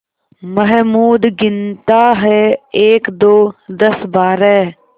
महमूद गिनता है एकदो दसबारह